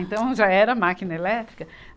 Então, já era máquina elétrica.